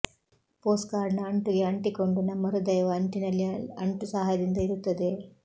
ಪೋಸ್ಟ್ಕಾರ್ಡ್ನ ಅಂಟುಗೆ ಅಂಟಿಕೊಂಡು ನಮ್ಮ ಹೃದಯವು ಅಂಟಿನಲ್ಲಿ ಅಂಟು ಸಹಾಯದಿಂದ ಇರುತ್ತದೆ